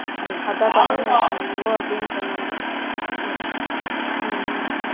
அதான் பண்ணிட்டு இருக்கேன் இவங்க அப்படின்னு சொன்னாங்க